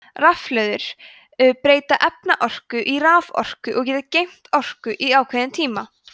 rafhlöður breyta efnaorku í raforku og geta geymt orku í ákveðin tíma